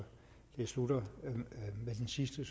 det slutter med den sidste